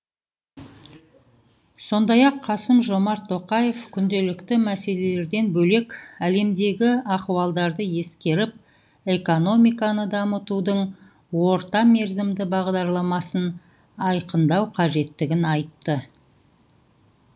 сондай ақ қасым жомарт тоқаев күнделікті мәселелерден бөлек әлемдегі ахуалдарды ескеріп экономиканы дамытудың орта мерзімді бағдарламасын айқындау қажеттігін айтты